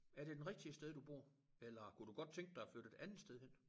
Er det den rigtige sted du bor eller kunne du godt tænke dig at flytte et andet sted hen?